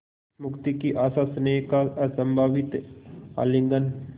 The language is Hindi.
मुक्ति की आशास्नेह का असंभावित आलिंगन